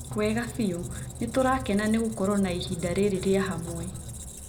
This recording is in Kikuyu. Wega biũ. Nĩtũrakena nĩ gũkorwo na ihinda rĩrĩ rĩa hamwe.